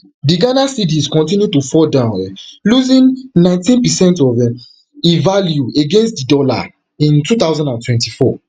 di ghana cedis continue to fall down um losingnineteen percent of um e value against di dollar in two thousand and twenty-four